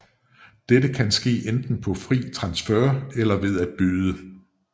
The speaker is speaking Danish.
Dette kan ske enten på fri transfer eller ved at byde